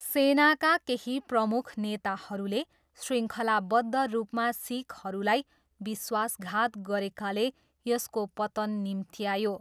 सेनाका केही प्रमुख नेताहरूले श्रृङ्खलाबद्ध रूपमा सिखहरूलाई विश्वासघात गरेकाले यसको पतन निम्त्यायो।